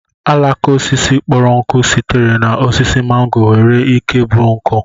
àlàká osisi kpọrọ nkụ sitere na osisi màngò nwere ike ịbụ nkụ